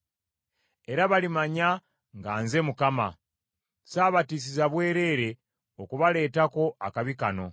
Era balimanya nga nze Mukama ; saabatiisiza bwereere okubaleetako akabi kano.